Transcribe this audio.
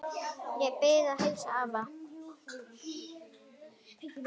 Ég bið að heilsa afa.